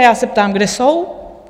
A já se ptám, kde jsou?